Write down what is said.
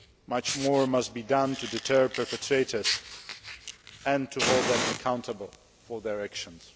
Much more must be done to deter perpetrators and to hold them accountable for their actions.